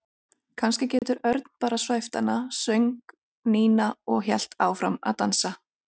Kannski getur Örn bara svæft hana söng Nína og hélt áfram að dansa.